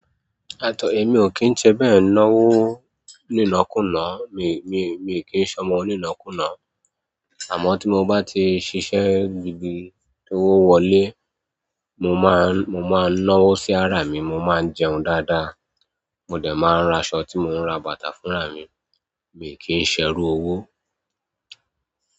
At'ọ emi ò kín ń ṣe bẹ́ẹ̀ n'owọ́ nínọ kùnà, mi, mi, mi ò kín ń ṣọ́mọ onínọkùnà. Àmọ́ tí mo bá ti ṣiṣẹ́ gbigbi tó wọlé, mo máa, mo máa ń n'ọ́wọ́ sí ara mi, mo máa ń jẹun dáadáa, mo dẹ̀ máa ń ra aṣọ tí mo ń ra bàtà fúnra mi, mi ò kí ń ṣẹ́rù owó.